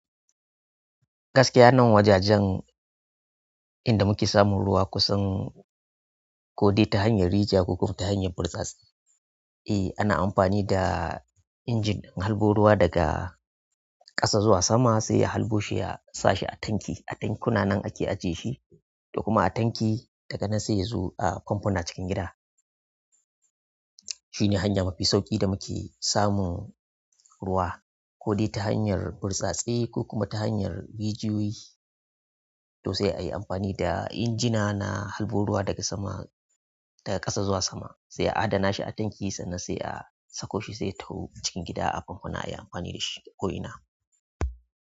Gaskiya nan wajajen inda muke samun ruwa kusan ko dai ta hanyar rijiya ko kuma ta hanyar burtsatsi. Eh ana amfani da injin in harbo ruwa daga ƙasa zuwa sama sai ya halɓo shi ya sa shi a tanki. A tankuna nan ake ajiye shi, to kuma a tanki daga nan sai ya zo a famfuna cikin gida. Shi ne hanya mafi sauƙi da muke samun ruwa ko dai ta hanyar burtsatse ko kuma ta hanyar rijiyoyi. To sai ayi amfani da injina na halɓo ruwa daga sama, daga ƙasa zuwa sama sai a adana shi a tanki sannan sai a sako shi sai ya taho cikin gida a famfuna ayi amfani da shi ko'ina.